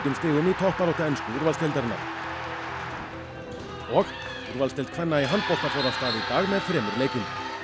stigum í toppbaráttu ensku úrvalsdeildarinnar og úrvalsdeild kvenna í handbolta fór af stað í dag með þremur leikjum